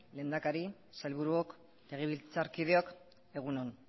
lehendakari sailburuok legebiltzarkideok egun on